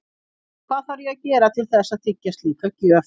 Og hvað þarf ég að gera til þess að þiggja slíka gjöf?